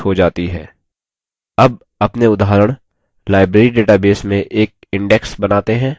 अब अपने उदाहरण library database में एक index बनाते हैं